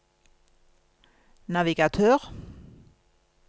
navigatør